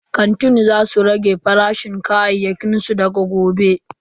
Kantin za su rage farashin kayayyakin su daga gobe.